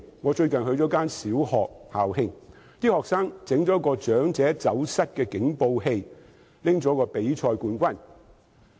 我最近曾出席一間小學的校慶，學生研發了一個"長者走失警報器"，並獲得比賽冠軍。